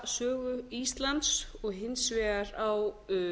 húsasögu íslands og hins vegar á